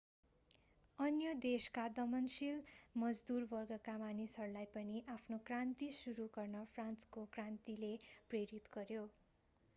अन्य देशका दमनशील मजदूर वर्गका मान्छेहरूलाई पनि आफ्नो क्रान्ति सुरु गर्न फ्रान्सको क्रान्तिले प्रेरित गर्‍यो।